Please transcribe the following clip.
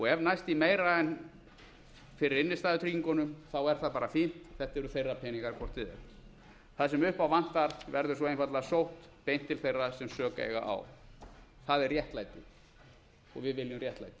ef næst í meira en fyrir innstæðutryggingunum er það bara fínt þetta eru þeirra peningar hvort eð er það sem upp á vantar verður svo einfaldlega sótt beint til þeirra sem sök eiga á það er réttlætið og við viljum réttlæti